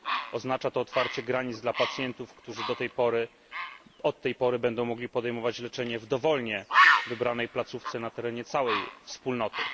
Oznacza to otwarcie granic dla pacjentów, którzy od tej pory będą mogli podejmować leczenie w dowolnie wybranej placówce na terenie całej Wspólnoty.